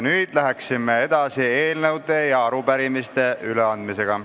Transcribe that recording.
Nüüd aga läheme edasi eelnõude ja arupärimiste üleandmisega.